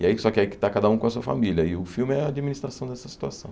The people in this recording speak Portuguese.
E aí, só que aí está cada um com a sua família, e o filme é a administração dessa situação.